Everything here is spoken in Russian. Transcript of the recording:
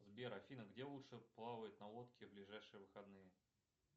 сбер афина где лучше плавать на лодке в ближайшие выходные